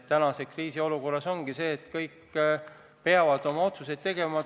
Tänases kriisiolukorras ongi sedasi, et kõik peavad oma otsused tegema.